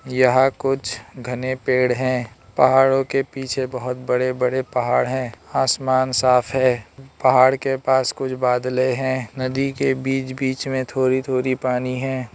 यहां कुछ घने पेड़ हैं पहाड़ों के पीछे बहोत बड़े बड़े पहाड़ हैं आसमान साफ है पहाड़ के पास कुछ बदले हैं नदी के बीच बीच में थोरी थोरी पानी है।